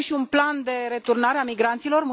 Și avem și un plan de returnare a migranților?